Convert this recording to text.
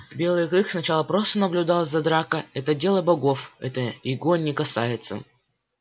белый клык сначала просто наблюдал за дракой это дело богов это его не касается